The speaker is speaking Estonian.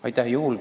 Aitäh!